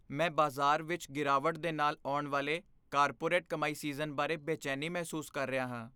ਮੈਂ ਬਾਜ਼ਾਰ ਵਿੱਚ ਗਿਰਾਵਟ ਦੇ ਨਾਲ ਆਉਣ ਵਾਲੇ ਕਾਰਪੋਰੇਟ ਕਮਾਈ ਸੀਜ਼ਨ ਬਾਰੇ ਬੇਚੈਨੀ ਮਹਿਸੂਸ ਕਰ ਰਿਹਾ ਹਾਂ।